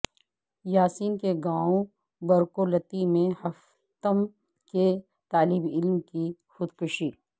یاسین کے گائوں برکولتی میں ہفتم کے طالبعلم کی خودکشی